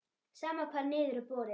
Sama hvar niður er borið.